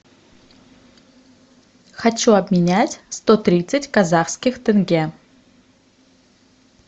хочу обменять сто тридцать казахских тенге